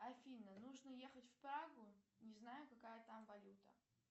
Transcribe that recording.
афина нужно ехать в прагу не знаю какая там валюта